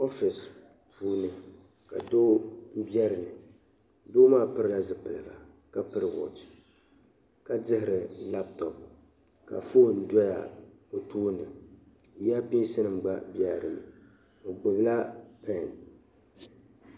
Ofiisi puuni ka doo bɛ dinni doo maa pilila zipiligu ka piri "watch" ka dihiri "laptop" ka fone doya o tooni earpinsnima gba bɛla dinni o gbubi la "pen".